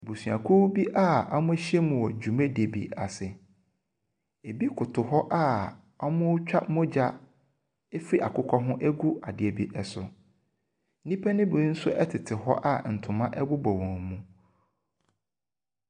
Abusuakuo bi a wɔahyiam wɔ dwumadie bi ase. Ebi koto hɔ a wɔretwa mogya afiri akokɔ ho agu adeɛ bi so. Nnipa no bi nso tete hɔ a ntoma bobɔ wɔn mu.